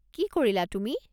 কি কৰিলা তুমি?